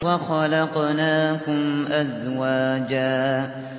وَخَلَقْنَاكُمْ أَزْوَاجًا